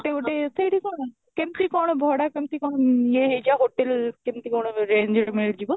ଗୋଟେ ଗୋଟେ ସେଇଠି କ'ଣ କେମିତି କ'ଣ ଭଡା କେମିତି କ'ଣ ଆଁ ୟେ ହେଇ ଯଉ hotel କେମିତି କ'ଣ range ରେ ମିଳି ଯିବ